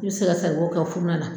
N be se ka saribɔn kɛ furuno la